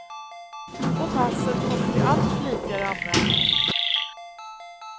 Och passet kommer till allt flitigare användning.